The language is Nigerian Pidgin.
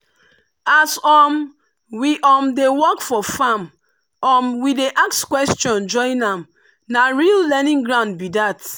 as um we um dey work for farm um we dey ask question join na real learning ground be that.